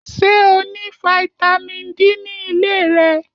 Ṣé o ní fataímìn D ní ilé rẹ?